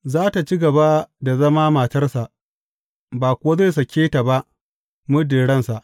Za tă ci gaba da zama matarsa; ba kuwa zai sake ta ba muddin ransa.